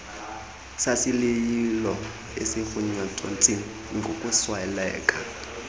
sasilila eziirnathontsi ngokusweleka